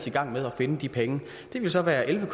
i gang med at finde de penge det ville så være elleve